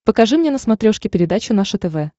покажи мне на смотрешке передачу наше тв